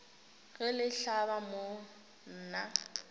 ge le hlaba mo nna